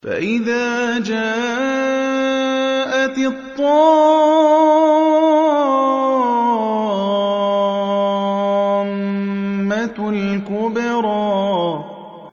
فَإِذَا جَاءَتِ الطَّامَّةُ الْكُبْرَىٰ